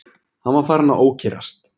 Hann var farinn að ókyrrast.